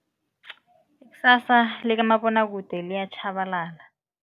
Ikusasa likamabonwakude liyatjhabalala.